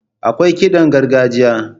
Akwai kiɗan gargajiya.